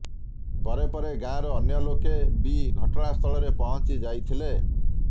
ପରେ ପରେ ଗାଁର ଅନ୍ୟଲୋକେ ବି ଘଟଣାସ୍ଥଳରେ ପହଞ୍ଚି ଯାଇଥିଲେ